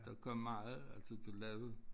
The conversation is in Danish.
Der kom meget altså du lavede